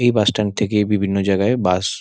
এই bus stand থেকে বিভিন্ন জাগায় বাস --